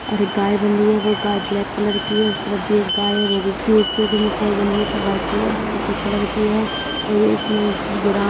और एक गाय बंधी है वो गाय ब्लैक कलर की है| उस तरफ भी एक गाय है वो केस जो मुख ओर बंधी है| सब व्हाइट कलर सफेद कलर की हैं और इसने --